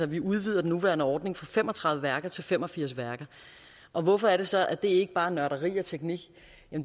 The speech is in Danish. vi udvider den nuværende ordning fra fem og tredive værker til fem og firs værker og hvorfor er det så at det ikke bare er nørderi og teknik